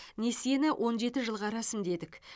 несиені он жеті жылға рәсімдедік